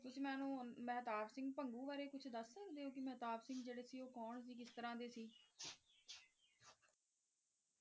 ਤੁਸੀ ਮੈਨੂੰ ਮਹਿਤਾਬ ਸਿੰਘ ਭੰਗੂ ਬਾਰੇ ਕੁਛ ਦੱਸ ਸਕਦੇ ਓ? ਕਿ ਮਹਿਤਾਬ ਸਿੰਘ ਜਿਹੜੇ ਸੀ ਓ ਕੌਣ ਸੀ ਕਿਸ ਤਰਾਂ ਦੇ ਸੀ?